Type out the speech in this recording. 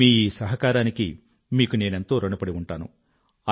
మీ ఈ సహకారానికి మీకు నేనెంతో ఋణపడి ఉంటాను